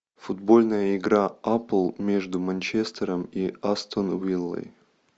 футбольная игра апл между манчестером и астон виллой